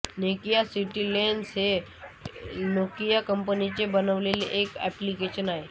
Nokia city lens हे Nokia कंपनीने बनविलेले एक एप्लिकेशन आहे